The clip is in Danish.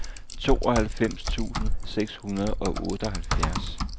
tooghalvfems tusind seks hundrede og otteoghalvfjerds